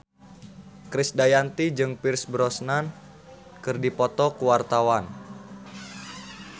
Krisdayanti jeung Pierce Brosnan keur dipoto ku wartawan